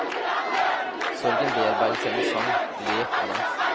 Sorgen bearbeides gjennom sang, lek og dans.